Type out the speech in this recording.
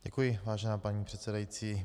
Děkuji, vážená paní předsedající.